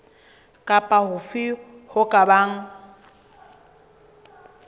kapa hofe ho ka bang